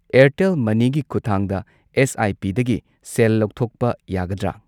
ꯑꯦꯔꯇꯦꯜ ꯃꯅꯤꯒꯤ ꯈꯨꯊꯥꯡꯗ ꯑꯦꯁ.ꯑꯥꯏ.ꯄꯤ.ꯗꯒꯤ ꯁꯦꯜ ꯂꯧꯊꯣꯛꯄ ꯌꯥꯒꯗ꯭ꯔꯥ?